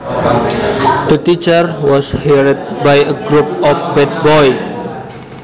The teacher was harried by a group of bad boys